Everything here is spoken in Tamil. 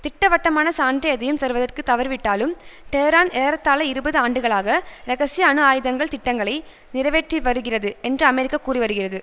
திட்டவட்டமான சான்று எதையும் சருவதற்கு தவறிவிட்டாலும் டெஹ்ரான் ஏறத்தாழ இருபது ஆண்டுகளாக இரகசிய அணு ஆயுதங்கள் திட்டங்களை நிறைவேற்றிவருகிறது என்று அமெரிக்கா கூறிவருகிறது